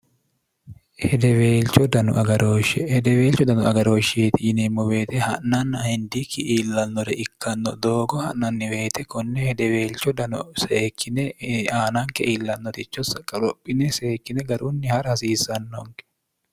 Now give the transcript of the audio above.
hedeweelcho dnu agarooshshe hedeweelcho dano agarooshsheeti yineemmo beete ha'nanna hindiikki iillalnore ikkanno doogo ha'nanniweete konne hedeweelcho dano seekkine aananke iillannoticho saqqorophine seekkine garunni ha'ra hasiissannonke